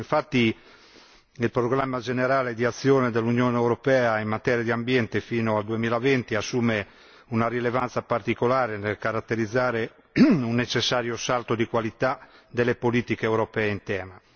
Infatti, il programma generale di azione dell'Unione europea in materia di ambiente fino al 2020 assume una rilevanza particolare nel caratterizzare un necessario salto di qualità delle politiche europee in tema.